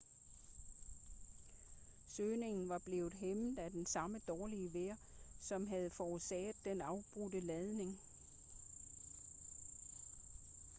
søgningen var blevet hæmmet af det samme dårlige vejr som havde forårsaget den afbrudte landing